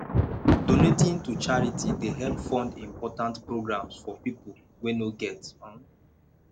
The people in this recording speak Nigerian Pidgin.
donating to charity dey help fund important programs for pipo wey no get um